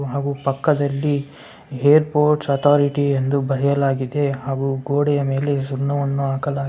ಹಾಗು ಪಕ್ಕದಲ್ಲಿ airports authority ಬರೆಯಲಾಗಿದೆ ಹಾಗೂ ಗೋಡೆಯ ಮೇಲೆ ಸಣ್ಣವನ್ನು ಹಾಕಲಾಗಿದೆ.